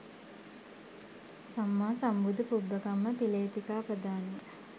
සම්මා සම්බුදු පුබ්බකම්ම පිලේතිකාපදානය